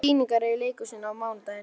Við förum bara strax og röbbum við hann.